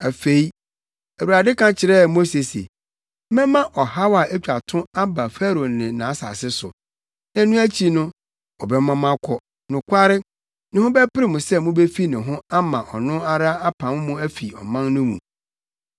Afei, Awurade ka kyerɛɛ Mose se, “Mɛma ɔhaw a etwa to aba Farao ne nʼasase so. Na ɛno akyi no, ɔbɛma mo akɔ. Nokware, ne ho bɛpere no sɛ mubefi ne ho ama ɔno ara apam mo afi ɔman no mu.